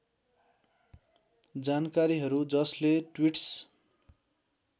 जानकारीहरू जसले ट्वीट्स